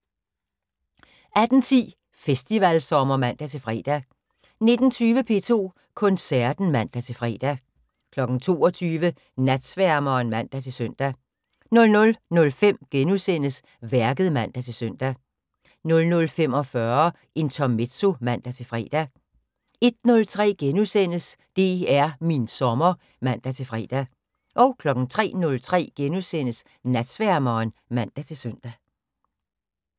18:10: Festivalsommer (man-fre) 19:20: P2 Koncerten (man-fre) 22:00: Natsværmeren (man-søn) 00:05: Værket *(man-søn) 00:45: Intermezzo (man-fre) 01:03: DR min sommer *(man-fre) 03:03: Natsværmeren *(man-søn)